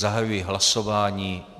Zahajuji hlasování.